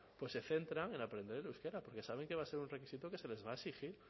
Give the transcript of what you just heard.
se centran en aprender euskera porque saben que va a ser un requisito que se les va a exigir